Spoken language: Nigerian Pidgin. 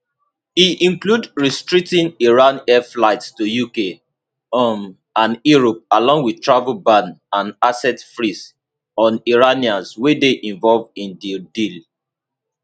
e include restricting iran air flights to uk um and europe along wit travel ban and asset freeze on iranians wey dey involved in di deal